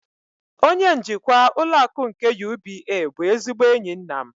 Onye njikwa ụlọ akụ nke UBA bụ ezigbo enyi nna m.